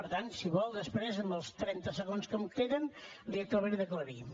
per tant si vol després en els trenta segons que em queden li ho acabaré d’aclarir